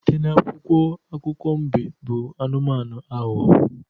Site n'akwụkwọ akụkọ mbe bụ anụmanụ aghụghọ